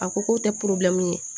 A ko k'o tɛ ye